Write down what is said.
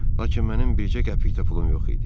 Lakin mənim bircə qəpik də pulum yox idi.